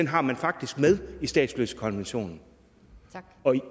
har man faktisk med i statsløsekonventionen